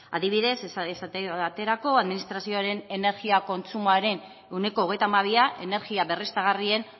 adibidez esate baterako administrazioaren energia kontsumoaren ehuneko hogeita hamabia energia berriztagarrien